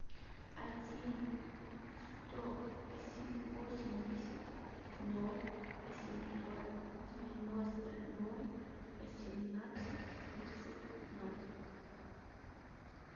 один сто восемьдесят ноль восемьсот девяносто ноль восемнадцать тридцать ноль